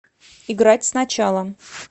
играть сначала